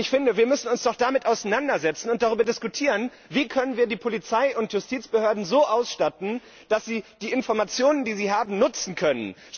Ich finde, wir müssen uns doch damit auseinandersetzen und darüber diskutieren, wie wir die Polizei und Justizbehörden so ausstatten können, dass sie die Informationen, die sie haben, nutzen können.